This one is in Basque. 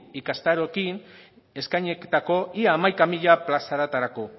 ikastaroekin eskainitako ia hamaika mila plazatarako